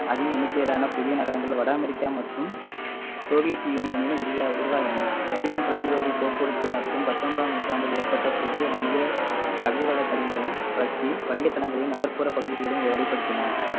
அதிக எண்ணிக்கையிலான புதிய நகரங்கள் வட அமெரிக்கா மற்றும் சோவியத் யூனியனில் உரிய ~ உருவாயின நவீன தொலை தொடர்பு போக்குவரத்து மற்றும் பத்தொன்பதாம் நூற்றாண்டில் ஏற்பட்ட புதிய வணிக கடல்வள வணிக தளங்களையும் நகர்ப்புற பகுதிகளையும் வழிப்படுத்தின